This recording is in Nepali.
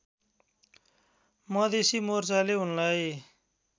मधेसी मोर्चाले उनलाई